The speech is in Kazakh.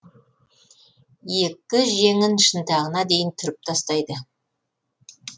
екі жеңін шынтағына дейін түріп тастайды